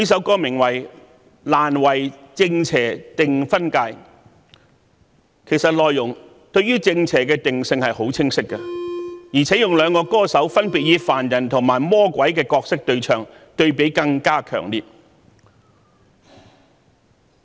歌名雖為"難為正邪定分界"，但內容對於正邪的定性其實相當清晰，而且由兩個歌手分別以凡人和魔鬼的角色對唱，對比更加強烈。